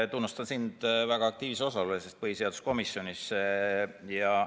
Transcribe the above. Ma tunnustan sind väga aktiivse osalemise eest põhiseaduskomisjonis!